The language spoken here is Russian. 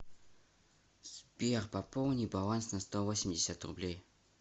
сбер пополни баланс на сто восемьдесят рублей